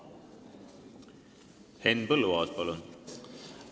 Henn Põlluaas, palun!